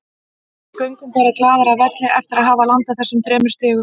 Við göngum bara glaðir af velli eftir að hafa landað þessum þremur stigum.